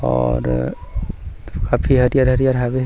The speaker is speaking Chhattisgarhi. और काफी हरियर-हरियर हवे।